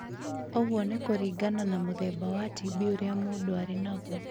Ũguo nĩ kũringana na mũthemba wa TB ũrĩa mũndũ arĩ naguo.